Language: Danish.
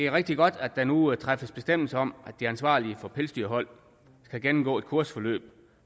rigtig godt at der nu træffes bestemmelse om at de ansvarlige for pelsdyrhold skal gennemgå et kursusforløb